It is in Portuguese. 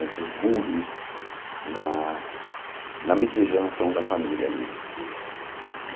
Entre os burgres na na miscigenação da família ali.